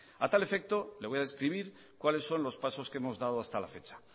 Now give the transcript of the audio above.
a tal efecto le voy a describir cuales son los pasos que hemos dado hasta la fecha